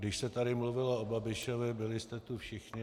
Když se tady mluvilo o Babišovi, byli jste tu všichni.